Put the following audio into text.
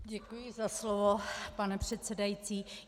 Děkuji za slovo, pane předsedající.